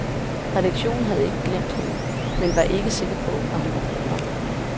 Redaktionen havde ikke glemt hende, men var ikke sikker på, hun var god nok.